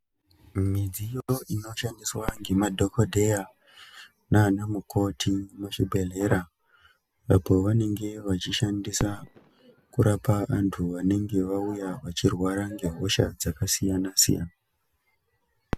Midziyo inoshandiswa ngemadhokodheya naana mukoti muzvibhedhlera apo vanenge vachishandisa kurapa antu venenge vauya vachirwara ngehosha dzakasiyana-siyana.